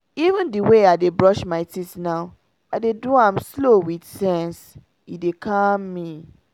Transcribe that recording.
even the way i dey brush my teeth now i dey do am slow with sense — e dey calm me.